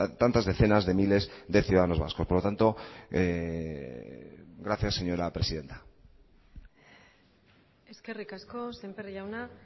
tantas decenas de miles de ciudadanos vascos por lo tanto gracias señora presidenta eskerrik asko semper jauna